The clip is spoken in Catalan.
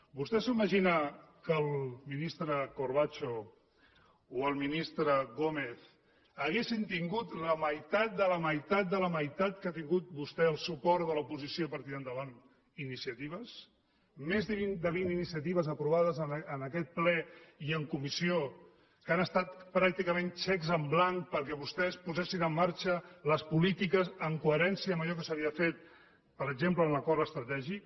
vostè s’imagina que el ministre corbacho o el ministre gómez haguessin tingut la meitat de la meitat de la meitat que l’ha tingut vostè el suport de l’oposició per tirar endavant iniciatives més de vint iniciatives aprovades en aquest ple i en comissió que han estat pràcticament xecs en blanc perquè vostès posessin en marxa les polítiques en coherència amb allò que s’havia fet per exemple en l’acord estratègic